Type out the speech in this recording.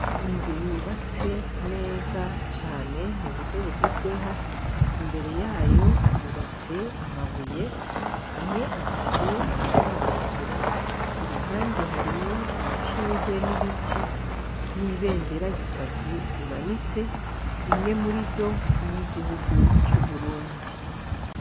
Inzu yubatse neza cane mu buryo bugezweho, imbere yayo hubatse amabuye amwe afise amabara atukura i ruhande harimwo amashurwe n'ibiti n'ibendera zitatu zimanitse, imwe muri zo niy’igihugu ‘Uburundi.